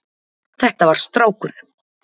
Þetta var strákur.